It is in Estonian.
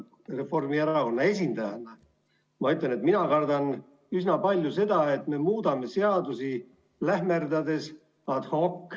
Reformierakonna esindajana ma ütlen, et mina kardan üsna palju seda, et me muudame seadusi lähmerdades, ad hoc.